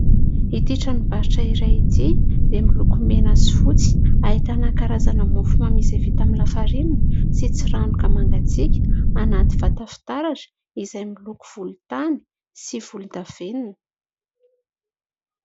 Itỳ tranombarotra iray itỳ dia miloko mena sy fotsy, ahitana karazana mofomamy izay vita amin'ny lafarinina sy tsiranoka mangatsiaka anaty vata fitaratra izay miloko volontany sy volondavenona.